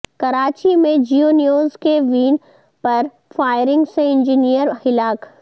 کراچی میں جیو نیوز کی وین پر فائرنگ سے انجینیئر ہلاک